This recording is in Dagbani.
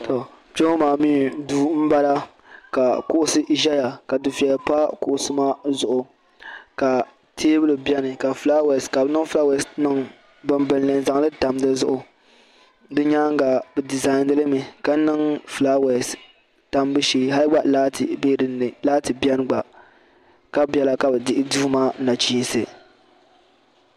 To kpe ŋɔ maa mi duu m bala ka kuɣusi ʒeya ka dufiɛya pa kuɣusi maa zuɣu ka teebuli beni ka fulaawesi ka bi niŋ fulaawaesi niŋ gbambilini n zaŋli tam di zuɣu.